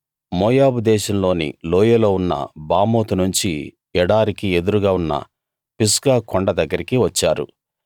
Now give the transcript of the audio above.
మోయాబు దేశంలోని లోయలో ఉన్న బామోతు నుంచి ఎడారికి ఎదురుగా ఉన్న పిస్గా కొండ దగ్గరికి వచ్చారు